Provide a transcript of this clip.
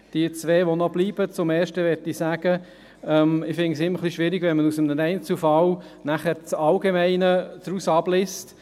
Die zwei Verbleibenden: Zur ersten möchte ich sagen, dass ich es immer ein bisschen schwierig finde, wenn man aus einem Einzelfall das Allgemeine abliest.